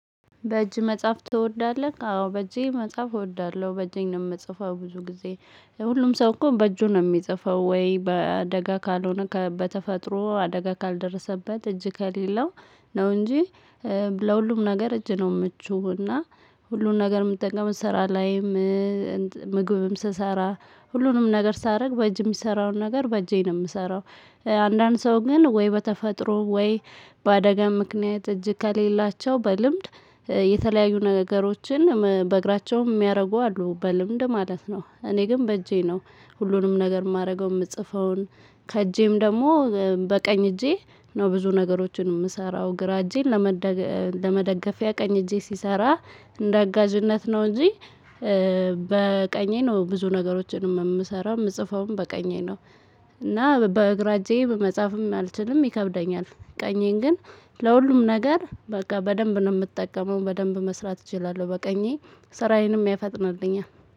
በእጅ መጽሐፍ ትወዳለህ? አዎ በእጄ መጽሐፍ እወዳለሁ በእጄ ነው የምጽፈው ብዙ ጊዜ። ሁሉም ሰው እኮ በእጁ ነው የሚጽፈው ወይ በአደጋ ካልሆነ በተፈጥሮ አደጋ ካልደረሰበት እጅ ከሌለው ነው እንጂ። ለሁሉም ነገር እጅ ነው የምቹው እና ሁሉን ነገር የምትጠቀመው ስራ ላይም። ምግብም ስሰራ ሁሉንም ነገር ሳደርግ በእጅ የሚሰራውን ነገር በእጄ ነው የምሰራው። አንዳንድ ሰው ግን ወይ በተፈጥሮ ወይ በአደጋ ምክንያት እጅ ከሌላቸው በልምድ የተለያዩ ነገሮችን በእግራቸውም የሚያደርጉ አሉ በልምድ ማለት ነው። እኔ ግን በእጄ ነው ሁሉንም ነገር የማደርገው የምጽፈውን። ከእጄም ደግሞ በቀኝ እጄ ነው ብዙ ነገሮችን የምሰራው። ግራ እጄን ለመደገፊያ ቀኝ እጄ ሲሰራ እንደ አጋዥነት ነው እንጂ። በቀኜ ነው ብዙ ነገሮችንም የምሰራው የምጽፈውም በቀኜ ነው። እና በግራ እጄ መጽሐፍም አልችልም ይከብደኛል። ቀኜን ግን ለሁሉም ነገር በቃ በደንብ ነው የምጠቀመው በደንብ መስራት እችላለሁ በቀኜ ስራዬንም ያፈጥናልኛል